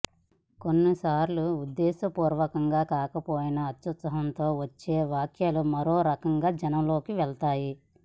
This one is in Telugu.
కొన్ని సార్లు ఉద్దేశ పూర్వకంగా కాకపోయినా అత్యుత్సాహం తో వచ్చే వ్యాఖ్యలు మరో రకంగా జనం లోకి వెళ్తాయి